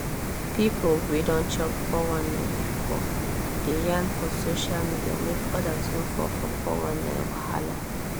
people wey don chop 419 before dey yarn for social media make others no fall for 419 wahala